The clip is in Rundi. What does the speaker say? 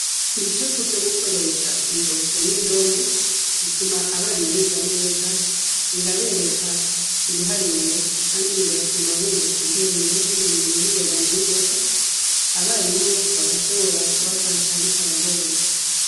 Ibicapo vyo gukoresha intoke n'indome bituma abana biga neza, birabereka ibiharuro kandi bigatuma bunguka ubwenge n'ubumenyi ningoga na ningoga, abarimu bigashobora kubafasha bitabagoye.